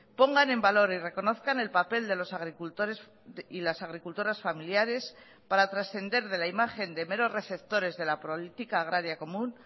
pongan en valor y reconozcan el papel de los agricultores y las agricultoras familiares para trascender de la imagen de meros receptores de la política agraria común